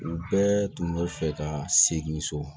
U bɛɛ tun bɛ fɛ ka segin so